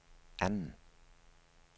anden